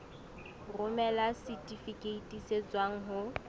romela setifikeiti se tswang ho